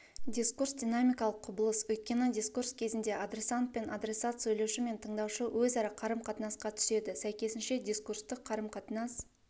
дискурс динамикалық құбылыс өйткені дискурс кезінде адресант мен адресат сөйлеуші мен тыңдаушы өзара қарым-қатынасқа түседі сәйкесінше дискурстық қарым-қатынас